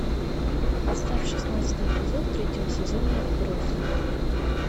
поставь шестнадцатый эпизод третьего сезона отбросы